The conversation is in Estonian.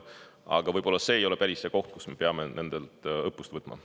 Aga võib-olla see ei ole päris see koht, kus me peaksime nendelt õppust võtma.